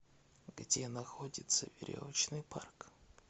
где находится веревочный парк